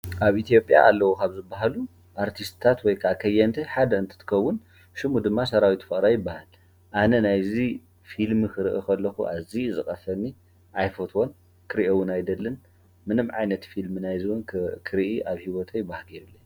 ኣብ ኢ/ያ ካብቶም ኣለው ዝበሃሉ ስነ ጥበበኛ ኮይኑ ሰራዊት ፍቅረ ይበሃል። አነ ከዓ ኣይፈቶን